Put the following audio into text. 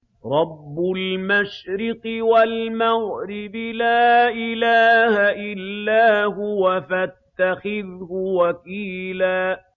رَّبُّ الْمَشْرِقِ وَالْمَغْرِبِ لَا إِلَٰهَ إِلَّا هُوَ فَاتَّخِذْهُ وَكِيلًا